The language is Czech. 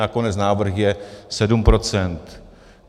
Nakonec návrh je sedm procent.